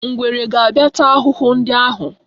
Ngwere ga-abịa taa ahụhụ ndị ahụ.